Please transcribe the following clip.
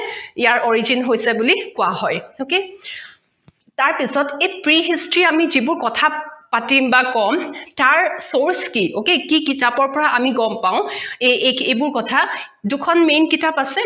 ইয়াৰ origin হৈছে বুলি কোৱা হয় okay তাৰ পিছত এই pre history আমি ।যিবোৰ কথা পাতিম বা কম তাৰ source কি okay কিতাপৰ পৰা আমি গম পাও এইবোৰ কথা দুখন main কিতাপ আছে